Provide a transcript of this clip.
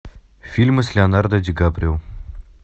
фильмы с леонардо ди каприо